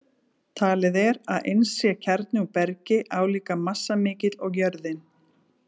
Talið er að innst sé kjarni úr bergi, álíka massamikill og jörðin.